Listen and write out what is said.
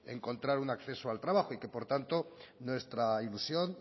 encontrar un acceso al trabajo y que por tanto nuestra ilusión